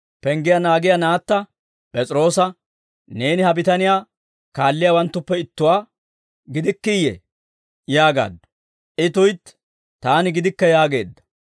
Penggiyaa naagiyaa naatta P'es'iroosa, «Neeni ha bitaniyaa kaalliyaawanttuppe ittuwaa gidikkiiyee?» yaagaaddu. I, «Tuytti, taani gidikke» yaageedda.